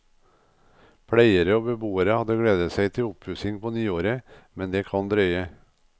Pleiere og beboere hadde gledet seg til oppussing på nyåret, men det kan drøye.